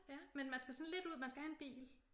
Ja men man skal sådan lidt ud man skal have en bil